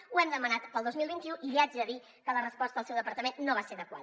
ho hem demanat per al dos mil vint u i li haig de dir que la resposta del seu departament no va ser adequada